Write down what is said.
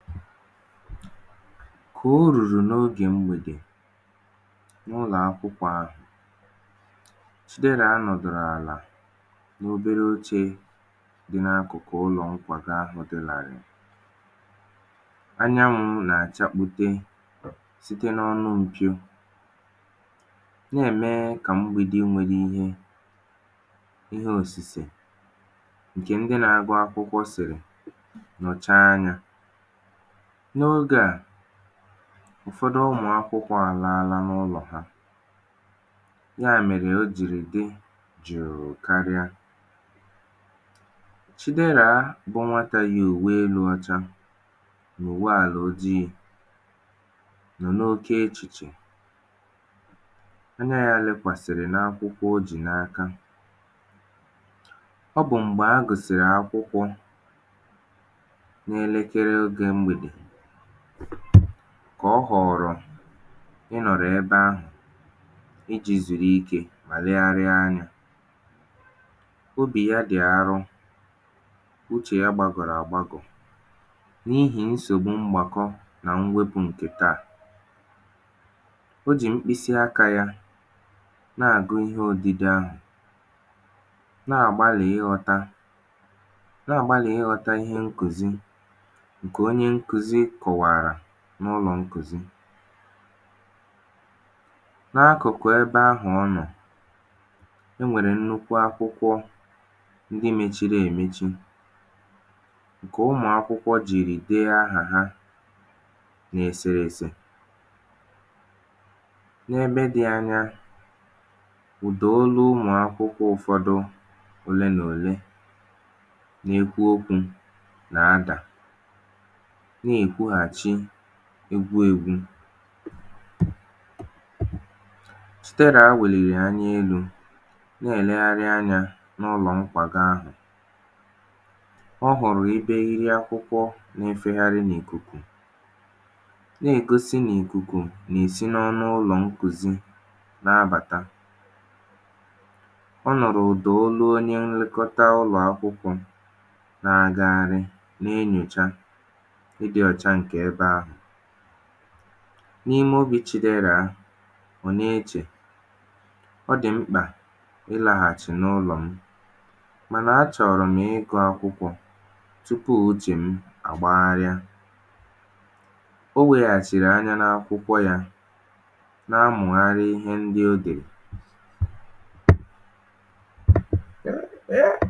kà o rùrù n’ogè mgbèdè, n’ụlọ̀ akwụkwọ̄ ahụ̀, Chidera nọ̀dòrò àla n’obere ochē dị na akụ̀kụ ụlọ̀ nkwàgo ahụ̄ dị làrị̀ị̀. anyanwụ̄ nà àchakpute, site n’ọnụ mpio, nà ẹ̀mẹ kà mgbīdi nwẹrẹ ihe, ihe òsìse, ǹkẹ̀ ndị na agụ akwụkwọ sị̀rị̀ nọ̀cha ya. n’ogē à, ụ̀fọdụ ụmụ̀akwụkwọ̄ àlala n’ụlọ̀ ha. yà mèrè o jìrì dị jụ̀ụ karịa. Chidera bụ nwatā yi ùwe elū ọcha nà ùwe àlà ojiī, n’oke echìchè. anya ya lẹkwàsị̀rị̀ n’akwụkwọ̄ o jì n’aka. ọ bụ̀ m̀gbè a gụ̀sị̀rị̀ akwụkwọ, n’ẹlẹkẹrẹ ogē mgbèdè, kà ọ họ̀rọ̀ ị nọ̀lụ ebe ahụ̀, ijī zùru ikē, legharịa anyā. obì ya dị̀ arọ, uchè ya gbagọ̀rọ̀ à gbagọ̀, n’ihì nsògbu mgbàkọ, nà mwẹpụ̄ ǹkè taà. o jì mkpịsị akā y anà àgụ ịhe odide ahụ̀, nà àgbalị̀ ịghọ̄ta, nà àgbalị̀ ịghọ̄ta ihe nkùzi, ǹkè onye nkuzi kọ̀wàrà n’ụlọ̀ nkùzi. n’akụ̀kụ̀ ẹbẹ̄ ahụ̀ ọ nọ, e nwèrè nnukwu akwụkwọ ndị mechiri èmechi, ǹkè ụmụ̀ akwụkwọ jìrì de ahà ha n’èsèrèsè. n’ebe dị anya, ụ̀dà olu ụmụ̀aka ụ̀fọdụ olee nà òlee, na ekwu okwū nà adà, nà èkwughàchi egwu egwu. Chidera wèlìrì anya elū, nà ẹ̀lẹgharị anyā n’ụlọ̀ nkwàgo ahụ̀. ọ hụ̀rụ ebe eriri akwụkwọ na efegharị n’ìkùkù, nà ègosi nà ìkùkù nà èsi n’ime ụlọ̀ nkùzi na abàta. ọ nụ̀rụ̀ ụ̀dà onye nlekota ulọ̀ akwụkwọ̄ na aghagharị, na enyòcha ịdị̄ ọcha ǹkẹ̀ ẹbẹ ahụ̀. n’ime obī Chiderà, ọ na echè, ọ dị̀ mkpà ị laghàchị̀ n’ụlọ̀ m, mà nà a chọ̀rọ̀ m ịgụ̄ akwụkwọ̄ tupù uchè m àgbagharịa. o weghàchị̀rị anya n’akwụkwọ̄, na amụ̀gharị ihe ndị o dèrè.